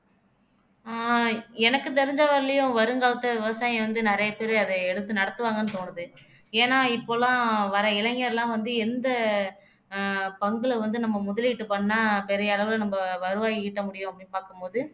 ஆஹ் எனக்கு தெரிஞ்ச வரையிலும் வருங்காலத்துல விவசாயம் வந்து நிறைய பேரு அத எடுத்து நடத்துவாங்கன்னு தோணுது ஏன்னா இப்பல்லாம் வர இளைஞர்லாம் வந்து எந்த அஹ் பங்குல வந்து நம்ம முதலீடு பண்ணா பெரிய அளவுல நம்ம வருவாய் ஈட்ட முடியும் அப்படின்னு பார்க்கும் போது